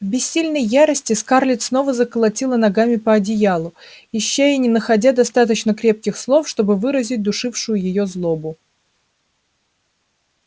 в бессильной ярости скарлетт снова заколотила ногами по одеялу ища и не находя достаточно крепких слов чтобы выразить душившую её злобу